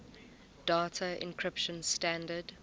data encryption standard